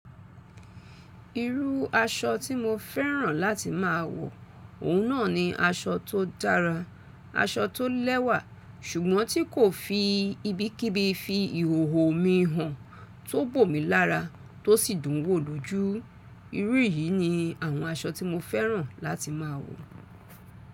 Irú aṣọ tí mo fẹ́ràn láti má a wọ òun náà ni aṣọ tó dára, aṣọ tó lẹ́wà ṣùgbọ́n tí kò fi ibikíbi fi ìhòhò mi hàn, tó bò mí lára, tó sì dùn wò lójú. Irú yìí ni àwọn aṣọ tí mo fẹ́ràn láti má a wọ.